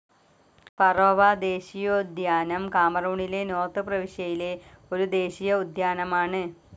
Faro ദേശീയോദ്യാനം കാമറൂണിലെ north പ്രവിശ്യയിലെ ഒരു ദേശീയ ഉദ്യാനമാണ്.